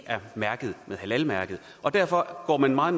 mærket med halalmærket og derfor går man meget